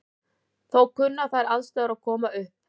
Þó kunna þær aðstæður að koma upp.